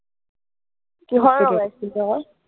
কিহৰ লগাইছিলা